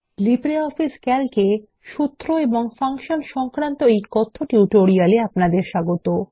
LibreOffice Calc এ সূত্র এবং ফাংশন সংক্রান্ত কথ্য টিউটোরিয়াল এ আপনাদের স্বাগত